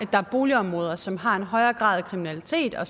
at der er boligområder som har en højere grad af kriminalitet og